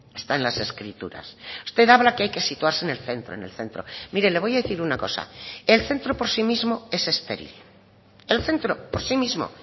está en las escrituras usted habla que hay que situarse en el centro en el centro mire le voy a decir una cosa el centro por sí mismo es estéril el centro por sí mismo